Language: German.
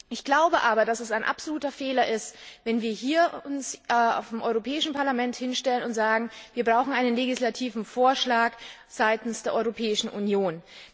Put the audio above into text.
Ich glaube aber, dass es ein absoluter Fehler ist, wenn wir vom Europäischen Parlament uns hier hinstellen und sagen Wir brauchen einen legislativen Vorschlag seitens der Europäischen Union.